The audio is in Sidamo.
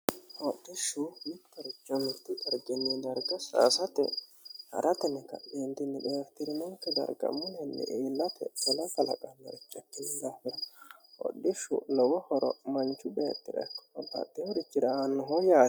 Hodhishshu mitto richo mittu dariginii darga saasate harateni kaa'litannonike daafira xeeritirinonike bayichira mullenni iillate ketela kaaqanoha ikkino daafira hodhishshu lowo horo manchu beettira ikko babbaxewo richira aannoho yaate